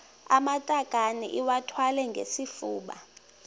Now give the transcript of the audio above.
amatakane iwathwale ngesifuba